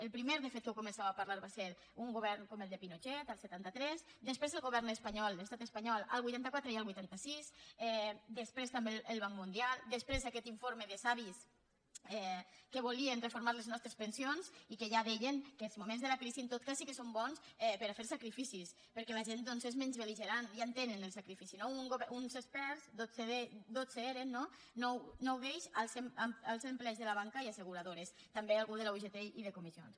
el primer de fet que ho va començar a parlar va ser un govern com el de pinochet el setanta tres després el govern espanyol l’estat espanyol el vuitanta quatre i el vuitanta sis després també el banc mundial després aquest informe de savis que volien reformar les nostres pensions i que ja deien que els moments de la crisi en tot cas sí que són bons per a fer sacrificis perquè la gent és menys belperts dotze eren no nou d’ells de la banca i asseguradores també algú de la ugt i de comissions